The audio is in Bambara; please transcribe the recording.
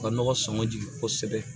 U ka nɔgɔ sɔngɔn jigin kosɛbɛ